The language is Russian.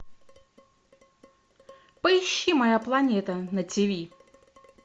поищи моя планета на тв